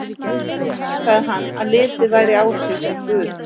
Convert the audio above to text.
Einnig heimtaði hann að litið væri á sig sem guð.